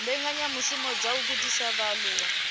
mbekanyamishumo dza u gudisa vhaaluwa